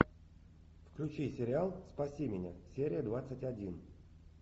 включи сериал спаси меня серия двадцать один